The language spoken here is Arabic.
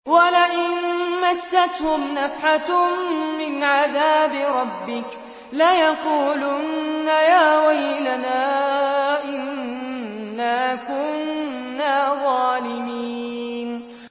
وَلَئِن مَّسَّتْهُمْ نَفْحَةٌ مِّنْ عَذَابِ رَبِّكَ لَيَقُولُنَّ يَا وَيْلَنَا إِنَّا كُنَّا ظَالِمِينَ